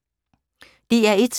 DR1